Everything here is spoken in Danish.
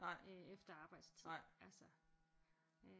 Efter arbejdstid altså øh